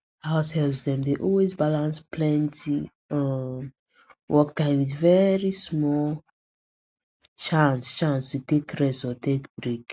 househelps dem dey always balance plenty um work time with very small chance chance to take rest or take break